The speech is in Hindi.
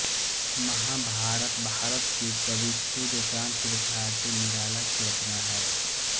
महाभारत भारत के कवि सूर्यकांत त्रिपाठी निराला की रचना है